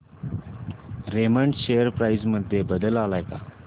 Raymond share price मध्ये बदल आलाय का